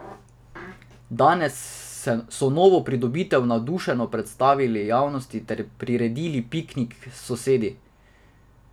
Danes so novo pridobitev navdušeno predstavili javnosti ter priredili piknik s sosedi.